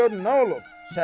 İndi gör nə olub.